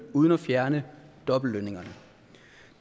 uden at fjerne dobbeltlønningerne